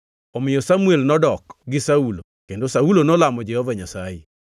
Omiyo Samuel nodok gi Saulo, kendo Saulo nolamo Jehova Nyasaye.